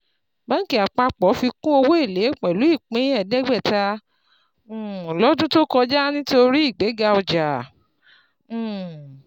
Banki apapo fikùn owó elé pẹ̀lú ìpín eedegbeta um lọ́dún tó kọjá nítorí ìgbéga ọjà. um